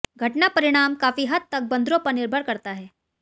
घटना परिणाम काफी हद तक बंदरों पर निर्भर करता है